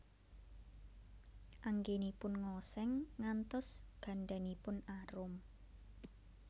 Anggènipun ngosèng ngantos gandanipun arum